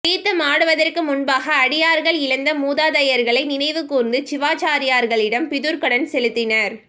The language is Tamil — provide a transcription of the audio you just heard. தீர்த்தமாடுவதற்கு முன்பாக அடியார்கள் இழந்த மூதாதையர்களை நினைவு கூர்ந்து சிவாச்சரியார்களிடம் பிதுர்க்கடன் செலுத்தினர்